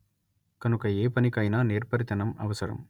కనుక ఏపనికైనా నేర్పరితనం అవసరం